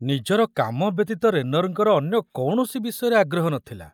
ନିଜର କାମ ବ୍ୟତୀତ ରେନରଙ୍କର ଅନ୍ୟ କୌଣସି ବିଷୟରେ ଆଗ୍ରହ ନ ଥିଲା।